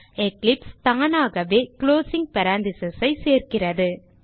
Eclipse தானாகவே closing parenthesis ஐ சேர்க்கிறது